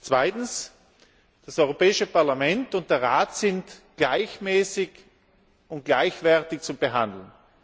Zweitens Das Europäische Parlament und der Rat sind gleichmäßig und gleichwertig zu behandeln!